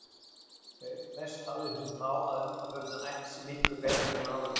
Auk þess hafði hún þá að undanförnu æft sig miklu betur en áður.